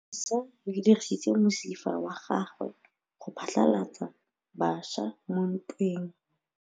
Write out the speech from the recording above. Lepodisa le dirisitse mosifa wa gagwe go phatlalatsa batšha mo ntweng.